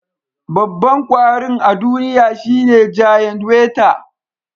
Babban kwarin a duniya shine giant weta